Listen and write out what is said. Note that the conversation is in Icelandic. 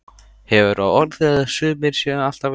Hefur á orði að sumir séu alltaf eins.